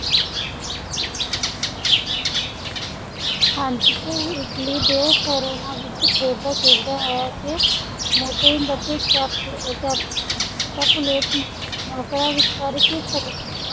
ਹਾਂਜੀ ਤੇ ਉਹ ਇਟਲੀ ਦੇ ਵੇਰੋਨਾ ਵਿਖੇ ਖੇਡਦਾ ਖੇਡਦਾ ਹੈ ਤੇ ਮੋਂਟੇਗ ਅਤੇ ਕੈਪੁ ਕੈਪੁਕੈਪੁਲੇਟ ਨੌਕਰਾਂ ਵਿਚਕਾਰ ਇੱਕ ਸੜਕੀ